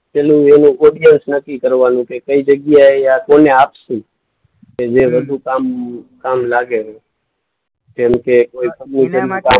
પહેલું વહેલું ઑડીએન્સ નક્કી કરવાનું કે કઈ જગ્યાએ આ કોને આપશું. કે જે વધુ કામ, કામ લાગે. કેમકે કોઈ